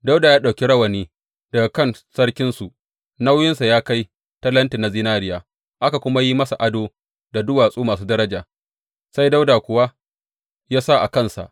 Dawuda ya ɗauki rawani daga kan sarkinsu, nauyinsa ya kai talenti na zinariya, aka kuma yi masa ado da duwatsu masu daraja, sai Dawuda kuwa ya sa a kansa.